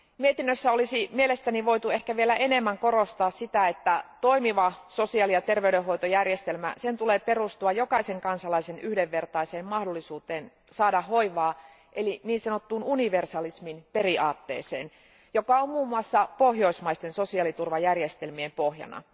Mietinnössä olisi mielestäni voitu ehkä vielä enemmän korostaa sitä, että toimivan sosiaali ja terveydenhoitojärjestelmän tulee perustua jokaisen kansalaisen yhdenvertaiseen mahdollisuuteen saada hoivaa, eli niin sanottuun universalismin periaatteeseen, joka on muun muassa pohjoismaisten sosiaaliturvajärjestelmien pohjana.